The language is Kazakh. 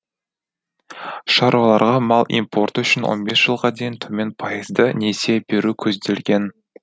шаруаларға мал импорты үшін он бес жылға дейін төмен пайызды несие беру көзделген